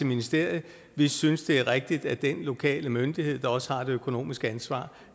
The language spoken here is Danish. ministeriet vi synes det er rigtigt at den lokale myndighed der også har det økonomiske ansvar